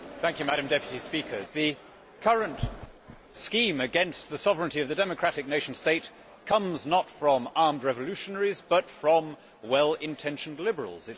Madam President, the current scheme against the sovereignty of the democratic nation state comes not from armed revolutionaries but from well intentioned liberals.